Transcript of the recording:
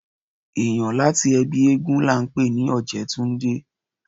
Èniyàn láti ẹbí éégún la ńpè ní ojetunde